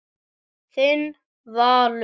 Þinn Valur.